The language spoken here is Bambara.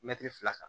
Mɛtiri fila kan